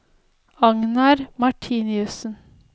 Agnar Martinussen